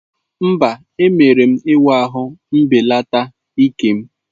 Mba, emere m ịwa ahụ mbelata ike'm.